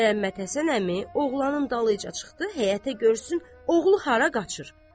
Məmmədhəsən əmi oğlanın dalınca çıxdı həyətə görsün oğlu hara qaçır.